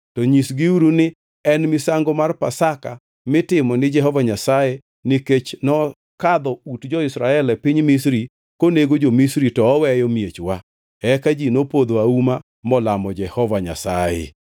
to nyisgiuru ni, ‘En misango mar Pasaka mitimo ni Jehova Nyasaye, nikech nokadho ut jo-Israel e piny Misri konego jo-Misri to oweyo miechwa.’ ” Eka ji nopodho auma molamo Jehova Nyasaye.